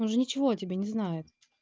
он же ничего о тебе не знает